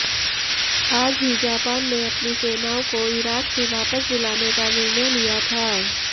आज ही जापान ने अपनी सेनाओं को इराक से वापस बुलाने का निर्णय लिया था